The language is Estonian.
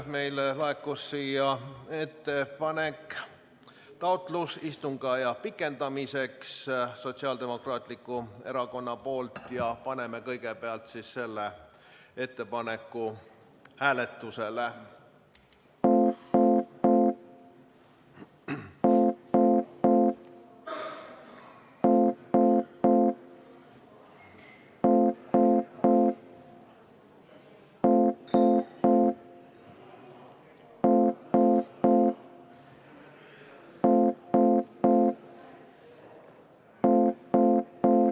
Meile laekus Sotsiaaldemokraatliku Erakonna fraktsiooni taotlus istungi aja pikendamiseks ja paneme kõigepealt selle ettepaneku hääletusele.